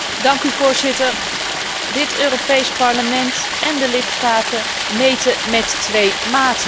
Voorzitter, dit Europees Parlement en de lidstaten meten met twee maten.